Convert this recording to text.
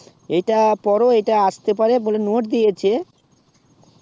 এইটার পরে এইটা আস্তে পারে বলে note দিয়েছে